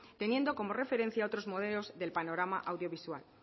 teniendo como referencia otros modelos del panorama audiovisual